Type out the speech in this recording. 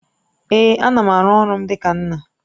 Èé, ana m aru ọrụ m dịka nna